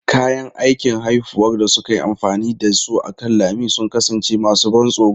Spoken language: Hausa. Kayan aikin haifuwar da suka yi amfani da su akan lami sun kasance masu ban tsoro.